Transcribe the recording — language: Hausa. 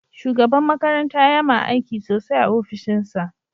Shugaban makaranta yama aiki sosai a ofishinsa.